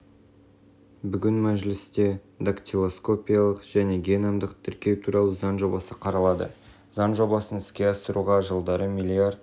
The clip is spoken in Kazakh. бүгін мәжілісте дактилоскопиялық және геномдық тіркеу туралы заң жобасы қаралады заң жобасын іске асыруға жылдары млрд